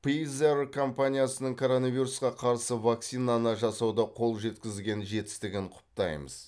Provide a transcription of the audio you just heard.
пизер компаниясының коронавирусқа қарсы вакцинаны жасауда қол жеткізген жетістігін құптаймыз